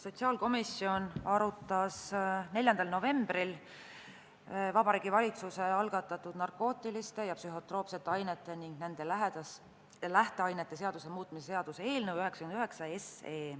Sotsiaalkomisjon arutas 4. novembril Vabariigi Valitsuse algatatud narkootiliste ja psühhotroopsete ainete ning nende lähteainete seaduse muutmise seaduse eelnõu 99.